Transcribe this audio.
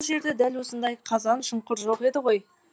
бұл жерде дәл осындай қазан шұңқыр жоқ еді ғой